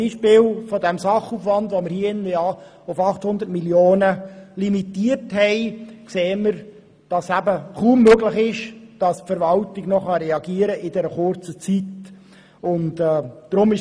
Am Beispiel des Sachaufwands, den wir hier im Rat auf 800 Mio. Franken beschränkt haben, sehen wir, dass es kaum möglich ist, dass die Verwaltung in dieser kurzen Zeit noch reagieren kann.